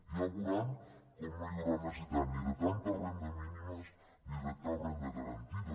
ja veuran com no hi haurà necessitat ni de tantes rendes mínimes ni de cap renda garantida